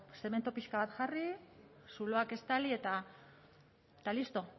zemento pixka bat jarri zuloak estali eta listo